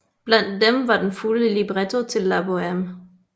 Blandt dem var den fulde libretto til La Bohème